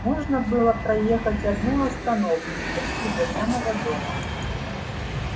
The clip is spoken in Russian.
можно было проехать одну остановку почти до самого дома